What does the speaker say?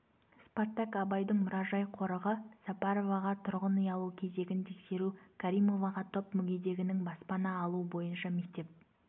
спартак абайдың мұражай-қорығы сапароваға тұрғын үй алу кезегін тексеру каримоваға топ мүгедегінің баспана алуы бойынша мектеп